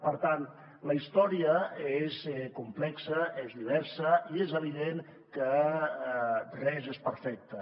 per tant la història és complexa és diversa i és evident que res és perfecte